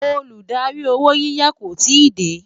Olùdarí owó yiyá kò tí dé